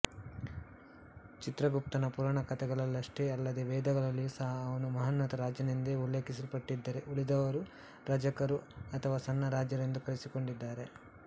ಚಿತ್ರಗುಪ್ತನ ಪುರಾಣಕಥೆಗಳಲ್ಲಷ್ಟೇ ಅಲ್ಲದೇ ವೇದಗಳಲ್ಲಿಯೂ ಸಹ ಅವನು ಮಹೋನ್ನತ ರಾಜನೆಂದೇ ಉಲ್ಲೇಖಿಸಲ್ಪಟ್ಟಿದ್ದರೆ ಉಳಿದವರು ರಾಜಕರು ಅಥವಾ ಸಣ್ಣ ರಾಜರೆಂದು ಕರೆಸಿಕೊಂಡಿದ್ದಾರೆ